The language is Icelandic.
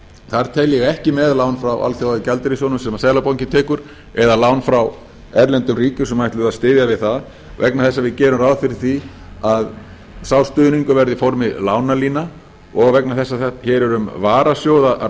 þar tel ég ekki með lán frá alþjóðagjaldeyrissjóðnum sem seðlabankinn tekur eða lán frá erlendum ríkjum sem ætluðu að styðja við það vegna þess að við gerum ráð fyrir því að sá stuðningur verði i formi lánalína og vegna þess að hér er um